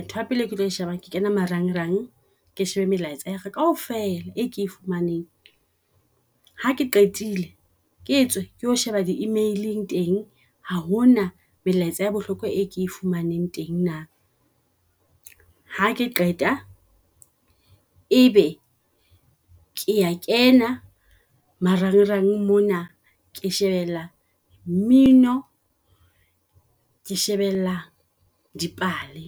Ntho ya pele e ke tlo shebang ke kena marangrang. Ke shebe melaetsa ya ka kaofela e ke e fumaneng, ha ke qetile ke tswe ke o sheba di email-eng teng ha hona melaetsa ya bohlokwa e ke e fumaneng teng na. Ha ke qeta ebe kea kena marangrang mona ke shebella mmino, ke shebella dipale.